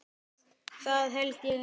Það held ég nú.